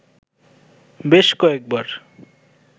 বেশ কয়েক বার